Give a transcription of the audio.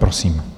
Prosím.